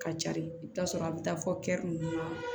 Ka jari i bi t'a sɔrɔ a bi taa fɔ nunnu na